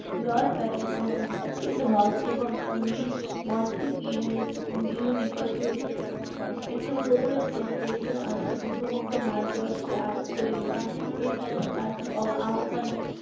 Lord ব্যান~ Birkenhead এবং main মঞ্চে গিয়ে গিয়ে নিকট হইতে একটু উদ্যত হইতে . সমগ্র ভারতবর্ষকে আঘাত করিল গান্ধীজি এই pa~ party র আহ্বান